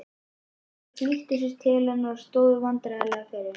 Þau flýttu sér til hennar og stóðu vandræðaleg yfir henni.